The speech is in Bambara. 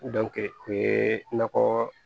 o ye nakɔ